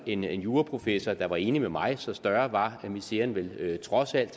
en juraprofessor der var enig med mig så større var miseren vel trods alt